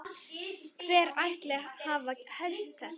Hver ætli hafi hert þetta?